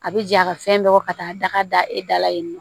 A bɛ ja ka fɛn bɛɛ bɔ ka taa daga da e da la yen nɔ